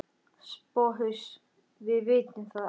SOPHUS: Við vitum það ekki.